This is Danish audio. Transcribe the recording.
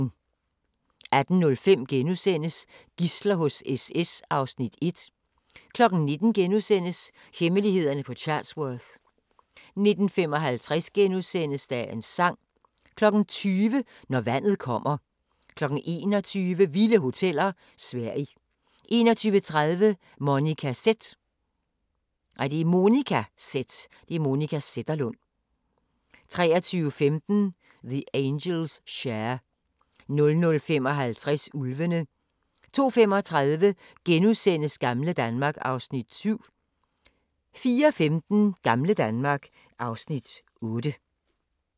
18:05: Gidsler hos SS (Afs. 1)* 19:00: Hemmelighederne på Chatsworth * 19:55: Dagens sang * 20:00: Når vandet kommer 21:00: Vilde hoteller: Sverige 21:30: Monica Z 23:15: The Angels' Share 00:55: Ulvene 02:35: Gamle Danmark (Afs. 7)* 04:15: Gamle Danmark (Afs. 8)